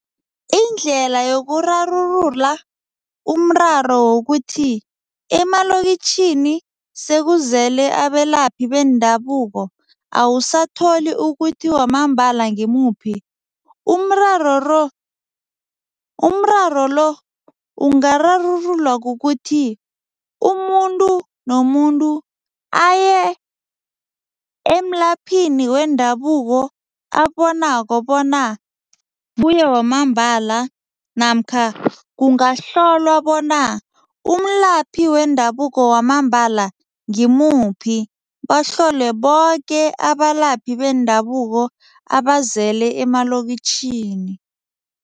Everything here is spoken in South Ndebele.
Indlela yokurarulula umraro wokuthi emalokitjhini sekuzele abelaphi beendabuko awusatholi ukuthi wamambala ngimuphi, umraro ro umraro lo ungararululwa kukuthi umuntu nomuntu aye emlaphini wendabuko ababonako bona kuye wamambala namkha kungahlolwa bona umlaphi wendabuko wamambala ngimuphi, bahlolwe boke abalaphi bendabuko abazele emalokitjhini.